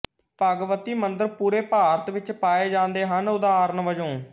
ਭਗਵਤੀ ਮੰਦਰ ਪੂਰੇ ਭਾਰਤ ਵਿੱਚ ਪਾਏ ਜਾਂਦੇ ਹਨ ਉਦਾਹਰਣ ਵਜੋਂ